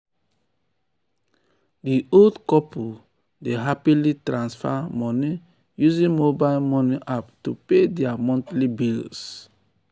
di old couple dey happily transfer moni using mobile moni app to pay dia monthly bills. bills.